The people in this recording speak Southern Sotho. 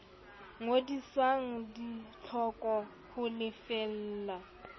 ngodiswang di hlokwa ho lefella